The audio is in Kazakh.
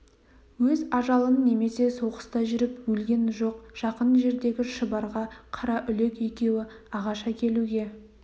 өз ажалынан немесе соғыста жүріп өлген жоқ жақын жердегі шұбарға қараүлек екеуі ағаш әкелуге